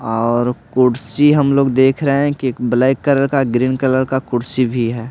और कुर्सी हम लोग देख रहे हैं कि ब्लैक कलर का ग्रीन कलर का कुर्सी भी है।